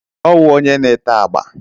Ọwụ onye na-ete agba.